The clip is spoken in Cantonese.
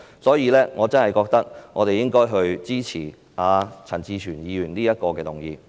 所以，我真的認為我們應支持陳志全議員提出的這項修正案。